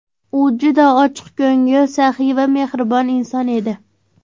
U juda ochiqko‘ngil, saxiy va mehribon inson edi.